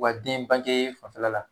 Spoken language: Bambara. U ka den bange fanfɛla la